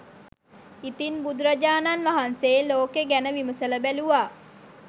ඉතින් බුදුරජාණන් වහන්සේ ලෝකෙ ගැන විමසල බැලූවා